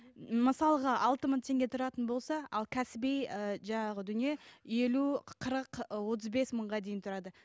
мысалға алты мың теңге тұратын болса ал кәсіби ы жаңағы дүние елу қырық ы отыз бес мыңға дейін тұрады